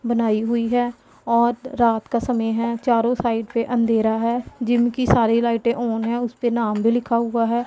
बनाई हुई है और रात का समय है चारों साइड पे अंधेरा है जिम की सारी लाइटे ऑन है उसपे नाम भी लिखा हुआ हैं।